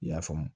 I y'a faamu